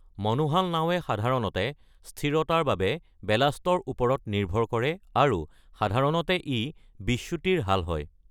মনোহাল নাৱে সাধাৰণতে স্থিৰতাৰ বাবে বেলাষ্টৰ ওপৰত নিৰ্ভৰ কৰে আৰু সাধাৰণতে ই বিচ্যুতিৰ হাল হয়।